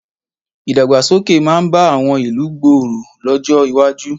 Ìdàgbàsókè máa bá àwọn ìlú ìgboro lọ́jọ́ iwájú.